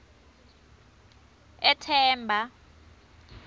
ethemba